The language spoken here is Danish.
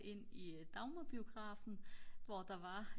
ind i Dagmar-biografen hvor der var